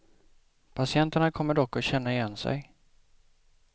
Patienterna kommer dock att känna igen sig.